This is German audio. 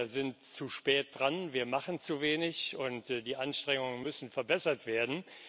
Wir sind zu spät dran, wir machen zu wenig, und die Anstrengungen müssen verbessert werden.